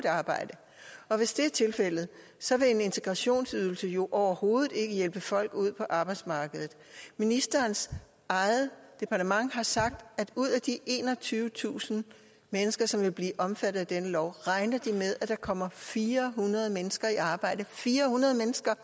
arbejde hvis det er tilfældet så vil integrationsydelsen jo overhovedet ikke hjælpe folk ud på arbejdsmarkedet ministerens eget departement har sagt at ud af de enogtyvetusind mennesker som vil blive omfattet af denne lov regner de med at der kommer fire hundrede mennesker i arbejde fire hundrede